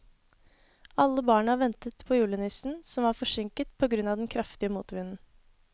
Alle barna ventet på julenissen, som var forsinket på grunn av den kraftige motvinden.